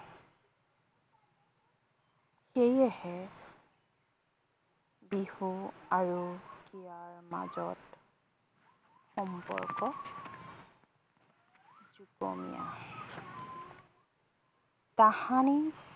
সেয়েহে বিহু আৰু ইয়াৰ মাজত সম্পৰ্ক যুগমীয়া। তাহানি